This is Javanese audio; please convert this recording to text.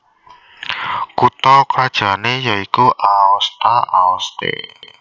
Kutha krajanné ya iku Aosta Aoste